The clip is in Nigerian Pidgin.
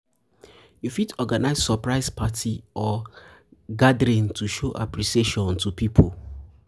you fit organise surprise party um or gathering to show appreciation to pipo